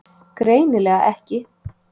Greinilega ekki.